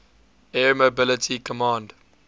air mobility command